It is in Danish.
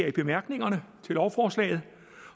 i bemærkningerne til lovforslaget